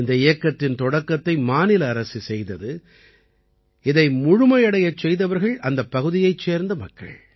இந்த இயக்கத்தின் தொடக்கத்தை மாநில அரசு செய்தது இதை முழுமையடையச் செய்தவர்கள் அந்தப் பகுதியைச் சேர்ந்த மக்கள்